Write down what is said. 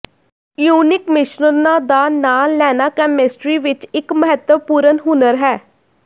ionic ਮਿਸ਼ਰਣਾਂ ਦਾ ਨਾਂ ਲੈਣਾ ਕੈਮਿਸਟਰੀ ਵਿੱਚ ਇੱਕ ਮਹੱਤਵਪੂਰਨ ਹੁਨਰ ਹੈ